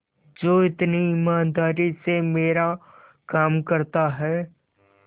जो इतनी ईमानदारी से मेरा काम करता है